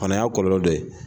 O fana y'a kɔlɔlɔ dɔ ye.